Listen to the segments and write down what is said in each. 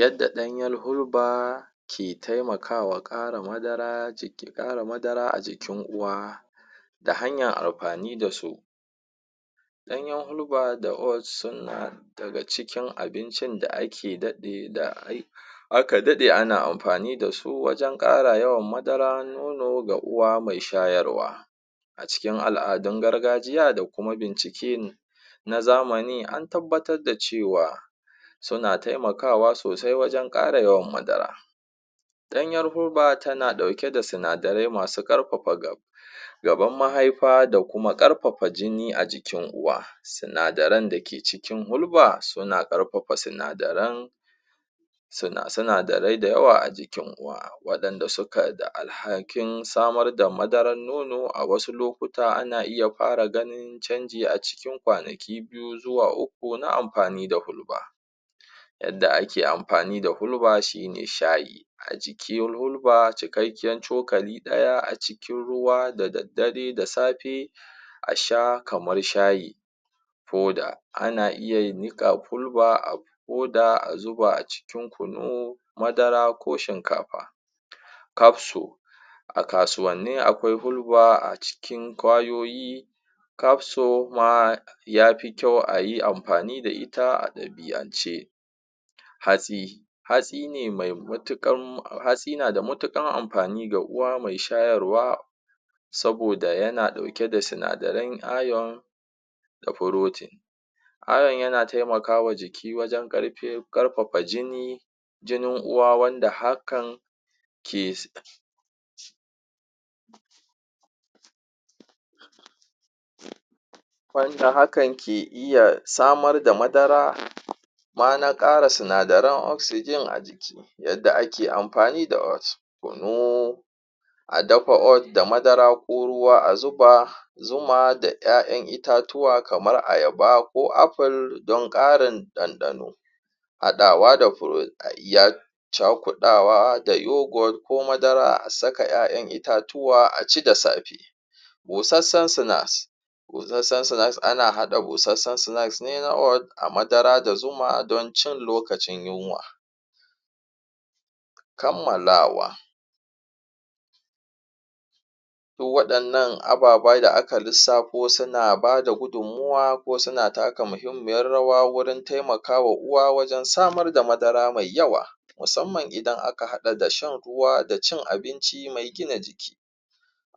yadda ɗanyal huba ke taimakawa ƙara madara a jikin uwa ta hanyar amfani dasu ɗanyan hulba da och suna daga cikin abinci da ake daɗe ana amfani dasu wajan ƙara yawan madara nono ga uwa mai shayarwa a cikin al'adun gargajiya da kuma bincike na zamani antabbatar da cewa suna taimakawa sosai wajan ƙara yawan madara ɗanyar hulba tana ɗauke da sinadarai masu ƙarfafa gaban mahaifa da kuma ƙarfafa jini a jikin uwa sunadaran dake cikin hulba suna ƙarfafa sinadaran sinadarai da yawa a jikin uwa waɗanda sukai da alhakin samar da madarar nono a wasu lokuta ana iya fara ganin canji a cikin ƙwanaki biyu zuwa uku na amfani da hulba yanda ake amfani da hulba shine shayi a cikin hulba cikakkin cukali ɗaya a cikin ruwa da daddare da safe a sha kamar shayi fuda ana iya niƙa hulba a fuda a zuba a cikin kunu a cikin kunu madara ko shinkafa kafsa a kasuwanni aƙwai huba a cikin ƙwayoyi kafso ma yafi kyau ayi amfani da ita a ɗabi'ance hatsi hatsi na da matuƙar amfani ga uwa mai shayarwa saboda yana ɗauke da sinadaran ione da protein ione yana taimakawa jiki wajan ƙarfafa jini jinin uwa wanda hakan ke iya samar da madara nama ƙara sinadaran oxygen a jiki yadda ake amfani da och kunu a dama och da madara ko ruwa a zuba zuma da ƴa'ƴan itatuwa kamar ayaba ko apple dan ƙarin ɗanɗano haɗawa da fruit a iya cakuɗawa da youghot ko madara a saka ƴa'ƴan itatuwa aci da safe ƙosassan sinks ƙosassan sinks ana haɗa ƙosassan sinks ne na och da madara da zuma ɗon cin lokacin yunwa kammalawa duk waɗannan ababai da aka lissafo suna bada gudun muwa ko suna taka muhimmiyar rawa wurin taimakawa uwa wajan samar da madara mai yawa musamman ida aka haɗa da shan ruwa da cin abinci mai gina jiki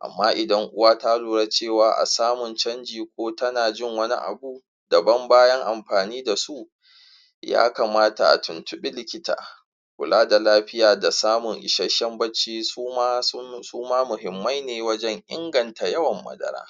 amma idan uwa ta lura cewa a samun canji ko tana jin wani abu daban bayan amfani dasu ya kamata a tuntuɓi likita kula da lafiya da samun ishasshan bacci suma muhimmai ne wajan inganta yawan madara